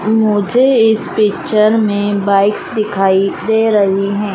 मुझे इस पिक्चर में बाइक्स दिखाई दे रही हैं।